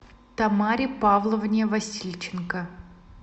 тамаре павловне васильченко